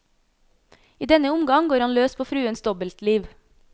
I denne omgang går han løs på fruens dobbeltliv.